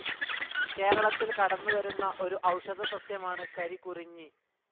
കേരളത്തിൽ കടന്നുവരുന്ന ഒരു ഔഷധ സസ്യമാണ് കരികുറിഞ്ഞി.